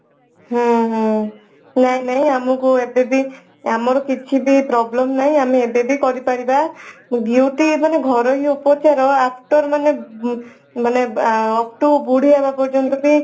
ହଁ ହଁ ନାଇଁ ନାଇଁ ଆମକୁ ଏବେ ବି ଆମର କିଛି ବି problem ନାଇଁ ଆମେ ଏବେ ବି କରିପାରିବା beauty ମାନେ ଘରୋଇ ଉପଚାର after ମାନେ after ବୁଢୀ ହେବ ପର୍ଯ୍ୟନ୍ତ ବି